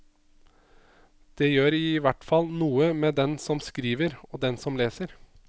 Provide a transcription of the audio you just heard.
Det gjør i hvert fall noe med den som skriver og den som leser.